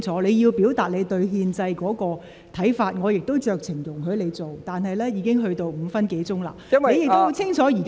你要表達你對憲制的看法，我也酌情容許你這樣做，但你就此課題已用了超過5分鐘發言。